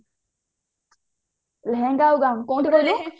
ଲେହେଙ୍ଗା ଆଉ ଗାଉନ କୋଉଠୁ କହିଲେ